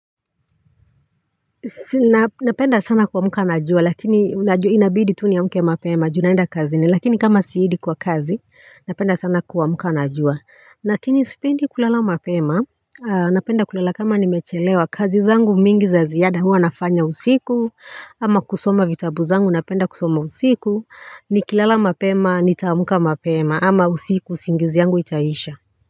Napenda sana kuamuka na jua lakini unajua inabidi tu niamuke mapema junaenda kazini lakini kama siedi kwa kazi napenda sana kuamuka na jua lakini sipendi kulala mapema. Napenda kulala kama nimechelewa kazi zangu mingi za ziada huwa nafanya usiku ama kusoma vitabu zangu napenda kusoma usiku ni kilala mapema nitaamuka mapema ama usiku singizi yangu itaisha.